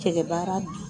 Kɛlɛ baara